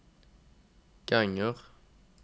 ganger